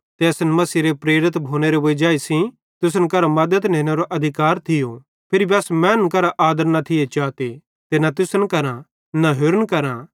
ते असन मसीहेरे प्रेरित भोनेरे वजाई सेइं तुसन करां मद्दत नेनेरो अधिकार थियो फिर भी अस मैनन् करां आदर न थिये चाते ते न तुसन करां न होरि कोन्ची करां